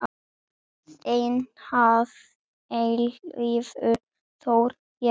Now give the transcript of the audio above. Þinn að eilífu, Þór Jes.